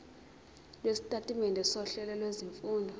lwesitatimende sohlelo lwezifundo